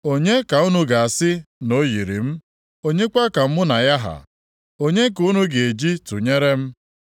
“Onye ka unu ga-asị na o yiri m? Onye kwa ka mụ na ya ha? Onye ka unu ga-eji tụnyere m?